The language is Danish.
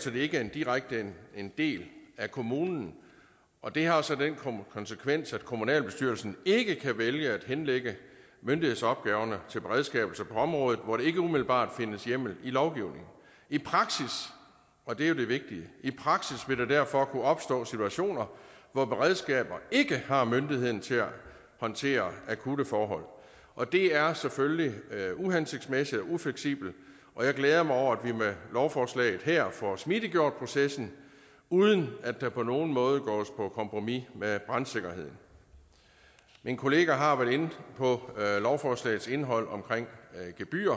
så de ikke direkte er en del af kommunen og det har så den konsekvens at kommunalbestyrelsen ikke kan vælge at henlægge myndighedsopgaverne til beredskaber på områder hvor der ikke umiddelbart findes hjemmel i lovgivningen i praksis og det er jo det vigtige vil der derfor kunne opstå situationer hvor beredskaberne ikke har myndigheden til at håndtere akutte forhold og det er selvfølgelig uhensigtsmæssigt og ufleksibelt og jeg glæder mig over at vi med lovforslaget her får smidiggjort processen uden at der på nogen måde gås på kompromis med brandsikkerheden min kollega har været inde på lovforslagets indhold omkring gebyrer